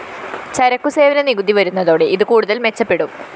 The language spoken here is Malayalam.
ചരക്കു സേവന നികുതി വരുന്നതോടെ ഇത് കൂടുതല്‍ മെച്ചപ്പെടും